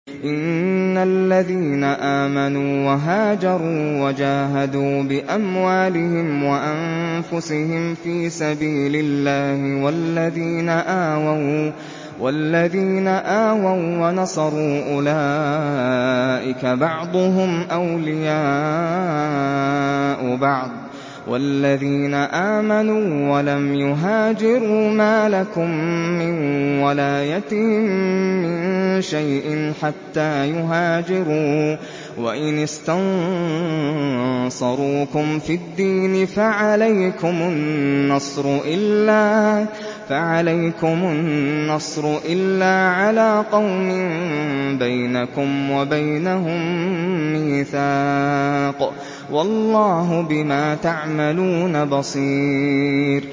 إِنَّ الَّذِينَ آمَنُوا وَهَاجَرُوا وَجَاهَدُوا بِأَمْوَالِهِمْ وَأَنفُسِهِمْ فِي سَبِيلِ اللَّهِ وَالَّذِينَ آوَوا وَّنَصَرُوا أُولَٰئِكَ بَعْضُهُمْ أَوْلِيَاءُ بَعْضٍ ۚ وَالَّذِينَ آمَنُوا وَلَمْ يُهَاجِرُوا مَا لَكُم مِّن وَلَايَتِهِم مِّن شَيْءٍ حَتَّىٰ يُهَاجِرُوا ۚ وَإِنِ اسْتَنصَرُوكُمْ فِي الدِّينِ فَعَلَيْكُمُ النَّصْرُ إِلَّا عَلَىٰ قَوْمٍ بَيْنَكُمْ وَبَيْنَهُم مِّيثَاقٌ ۗ وَاللَّهُ بِمَا تَعْمَلُونَ بَصِيرٌ